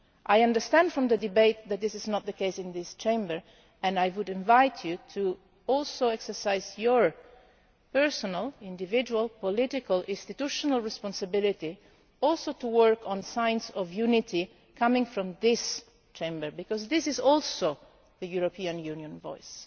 I understand from the debate that this is not the case, and I would invite you, too, to exercise your personal, individual, political and institutional responsibility to work on signs of unity coming from this Chamber, because this is also the European Union voice.